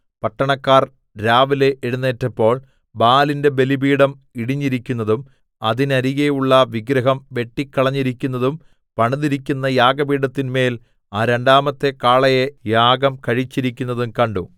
പട്ടണക്കാർ രാവിലെ എഴുന്നേറ്റപ്പോൾ ബാലിന്റെ ബലിപീഠം ഇടിഞ്ഞിരിക്കുന്നതും അതിന്നരികെയുള്ള വിഗ്രഹം വെട്ടിക്കളഞ്ഞിരിക്കുന്നതും പണിതിരിക്കുന്ന യാഗപീഠത്തിന്മേൽ ആ രണ്ടാമത്തെ കാളയെ യാഗം കഴിച്ചിരിക്കുന്നതും കണ്ടു